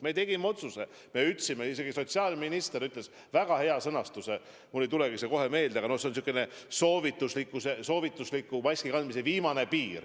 Me tegime otsuse, sotsiaalminister käis välja väga hea sõnastuse – mulle ei tule see kohe meelde, aga noh, see oli säärane maski soovitusliku kandmise viimane piir.